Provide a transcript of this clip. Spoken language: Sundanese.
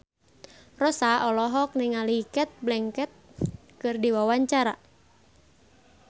Rossa olohok ningali Cate Blanchett keur diwawancara